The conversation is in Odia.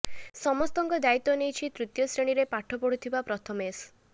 ସମସ୍ତଙ୍କ ଦାୟିତ୍ବ ନେଇଛି ତୃତୀୟ ଶ୍ରେଣୀରେ ପାଠ ପଢୁଥିବା ପ୍ରଥମେଶ